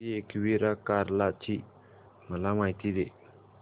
श्री एकविरा कार्ला ची मला माहिती दे